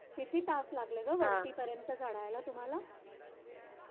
किती तास लागले ग वरती पर्यंत चढायला तुम्हाला